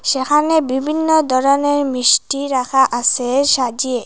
সেখানে বিভিন্ন ধরনের মিষ্টি রাখা আসে সাজিয়ে।